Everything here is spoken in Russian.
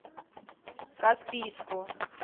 каспийску